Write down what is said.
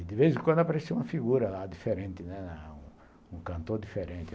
E, de vez em quando, aparecia uma figura lá diferente, um cantor diferente.